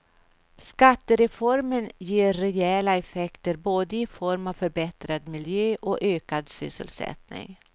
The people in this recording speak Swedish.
Skattereformen ger rejäla effekter både i form av förbättrad miljö och ökad sysselsättning.